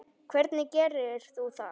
Hvernig gerir þú það?